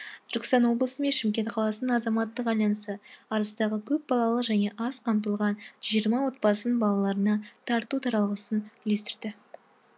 түркістан облысы мен шымкент қаласының азаматтық альянсы арыстағы көпбалалы және аз қамтылған жүз жиырма отбасының балаларына тарту таралғысын үлестірді